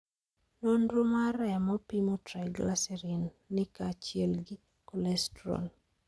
Nonro mar remo pimo triglycerides ni kaa chiel gi cholesterol